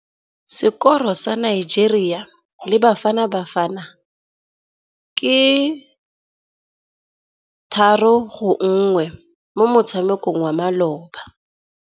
Sekôrô sa Nigeria le Bafanabafana ke 3-1 mo motshamekong wa malôba.